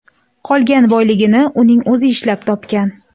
Qolgan boyligini uning o‘zi ishlab topgan.